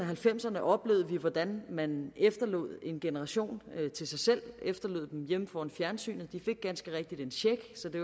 halvfemserne oplevede vi hvordan man efterlod en generation til sig selv efterlod dem hjemme foran fjernsynet de fik ganske rigtigt en check så det